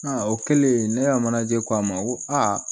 Aa o kɛlen ne y'a manaje ko a ma ko a